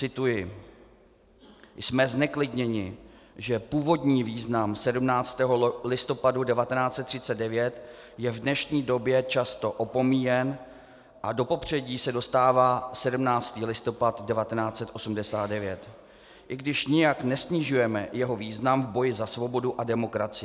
Cituji: "Jsme zneklidněni, že původní význam 17. listopadu 1939 je v dnešní době často opomíjen a do popředí se dostává 17. listopad 1989, i když nijak nesnižujeme jeho význam v boji za svobodu a demokracii.